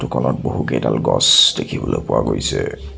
Photo খনত বহুকেডাল গছ দেখিবলৈ পোৱা গৈছে।